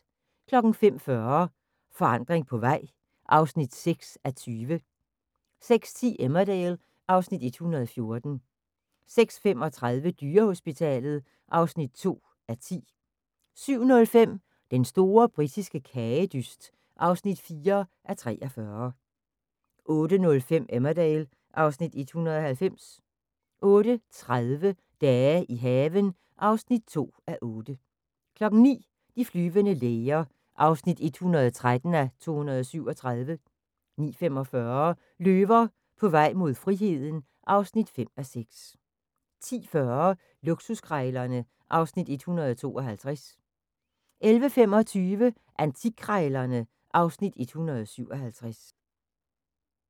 05:40: Forandring på vej (6:20) 06:10: Emmerdale (Afs. 114) 06:35: Dyrehospitalet (2:10) 07:05: Den store britiske kagedyst (4:43) 08:05: Emmerdale (Afs. 190) 08:30: Dage i haven (2:8) 09:00: De flyvende læger (113:237) 09:45: Løver på vej mod friheden (5:6) 10:40: Luksuskrejlerne (Afs. 152) 11:25: Antikkrejlerne (Afs. 157)